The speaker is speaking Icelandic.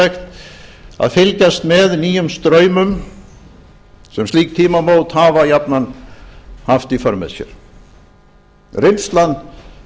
fróðlegt að fylgjast með nýjum straumum sem slík tímamót hafa ávallt haft í för með sér reynslan